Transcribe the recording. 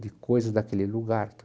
de coisas daquele lugar.